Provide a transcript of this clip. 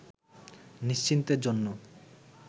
নিশ্চিন্তের জন্য